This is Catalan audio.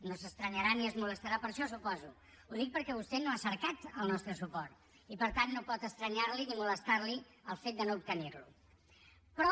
no s’estranyarà ni es molestarà per això suposo ho dic perquè vostè no ha cercat el nostre suport i per tant no pot estranyarli ni molestarli el fet de no obtenirlo però